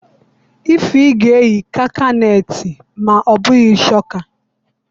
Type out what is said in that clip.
Ify ga-eyi kakanetị ma obughi chokaa.